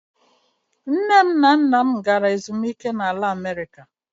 Nne na nna m gara ezumike na America.